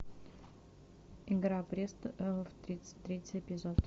игра престолов тридцать третий эпизод